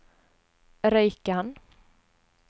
Røyken